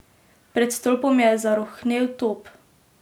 Pred stolpom je zarohnel top.